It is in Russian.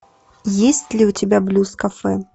есть ли у тебя блюз кафе